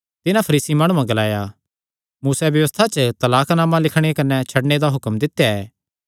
तिन्हां फरीसी माणुआं ग्लाया मूसैं व्यबस्था च तलाक नामा लिखणे कने छड्डणे दा हुक्म दित्या ऐ